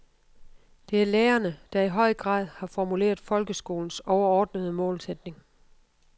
Det er lærerne, der i høj grad har formuleret folkeskolens overordnede målsætning.